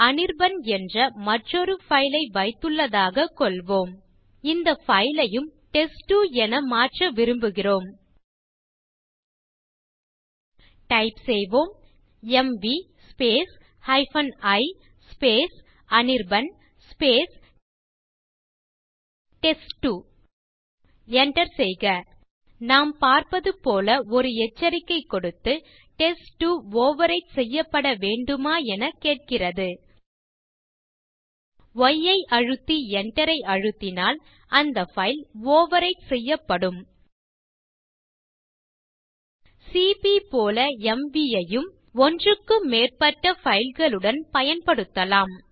அனிர்பன் என்ற மற்றொரு பைல் ஐ வைத்துள்ளதாக கொள்வோம்இந்த பைல் யும் டெஸ்ட்2 என மாற்ற விரும்புகிறோம் டைப் செய்வோம் MV i Anirban test two enter செய்க நாம் பார்ப்பது போல ஒரு எச்சரிக்கை கொடுத்து டெஸ்ட்2 ஓவர்விரைட் செய்யப்பட வேண்டுமா எனக் கேட்கிறது ய் ஐ அழுத்தி enter ஐ அழுத்தினால் அந்த பைல் ஓவர்விரைட் செய்யப்படும் சிபி போல எம்வி ஐயும் ஒன்றுக்கும் மேற்பட்ட பைல் களுடன் பயன்படுத்தலாம்